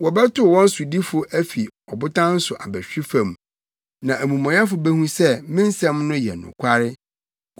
Wɔbɛtow wɔn sodifo afi ɔbotan so abɛhwe fam; na amumɔyɛfo behu sɛ me nsɛm no yɛ nokware.